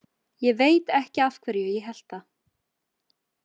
Ég veit ekki af hverju ég hélt það.